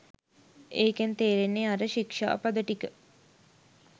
ඒකෙන් තේරෙන්නේ අර ශික්ෂාපද ටික